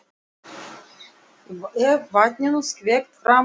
Er vatninu skvett framan í mann. svona.